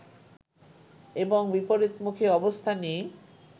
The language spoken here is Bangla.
এবং বিপরীতমুখী অবস্থানই